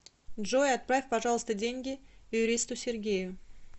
джой отправь пожалуйста деньги юристу сергею